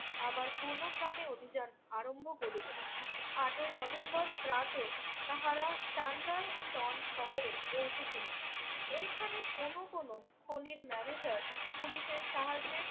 আবার পূর্ণোদ্যমে অভিযান আরম্ভ করিলেন। আটই নভেম্বর প্রাতে তাহারা তেন্ডাই টন শহরে পৌঁছেছিলেন। এখানে কোনো কোনো খনির ম্যানেজার পুলিশের সাহায্যে